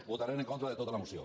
votarem en contra de tota la moció